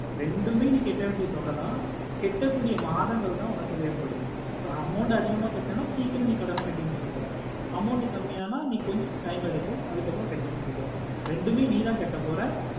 ரெண்டுமே நீ கேட்ட வேண்டியா தொகைத கேட்ட குடியா மாதங்கள்த வேறு படும் so amount அதிகமா கேட்டன சிக்கிறோமா நீ கடனா கெட்டி முடிக்க போற amount கம்மி அனா நீ கொஞ்ச time எடுக்கும் அதுக்கு அப்ரோ நீ கெட்டி முடிக்க போற ரெண்டுமே நீத்த கேட்ட போற